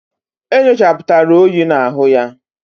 E nyochaputara oyi na-ahu ya